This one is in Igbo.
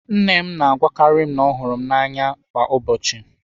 Nne m na-agwakarị m na ọ hụrụ m n'anya kwa ụbọchị.